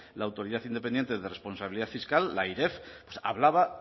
la autoridad independiente de responsabilidad fiscal la airef hablaba